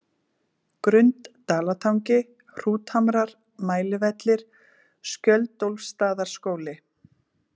Grund-Dalatangi, Hrúthamrar, Mælivellir, Skjöldólfsstaðaskóli